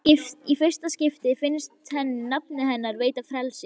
Í fyrsta skipti finnst henni nafnið hennar veita frelsi.